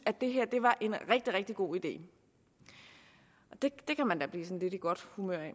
det her var en rigtig rigtig god idé det kan man da blive lidt i godt humør af